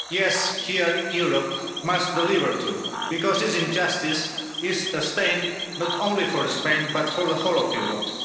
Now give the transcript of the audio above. Yes, here Europe must deliver too, because this injustice is a stain not only for Spain but for the whole of Europe.